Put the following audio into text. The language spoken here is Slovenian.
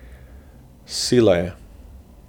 Sila je.